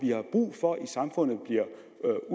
er